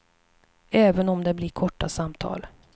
Även om det blir korta samtal.